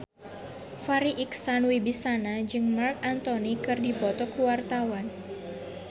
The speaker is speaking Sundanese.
Farri Icksan Wibisana jeung Marc Anthony keur dipoto ku wartawan